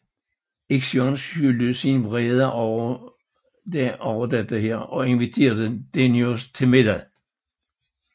Ixion skjulte sin vrede over dette og inviterede Deioneus til middag